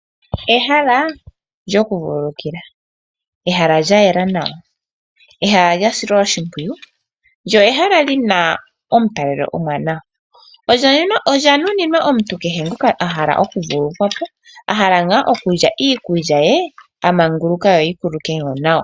Ehala lyokuvululukila, lya yela nawa nolya silwa oshipwiyu, lyo oli na omutalelo omwaanawa. Olya nuninwa kehe omuntu ngoka a hala okuvululukwa po nenge a hala okulya iikulya a manguluka, yo yi kuululuke nawa.